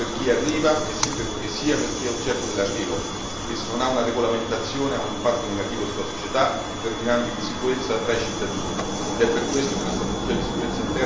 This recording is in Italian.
È un elemento che determina disagio, sia per chi arriva, sia per chi è oggetto dell'arrivo, che senza una regolamentazione ha un impatto negativo sulla società, determinando insicurezza tra i cittadini.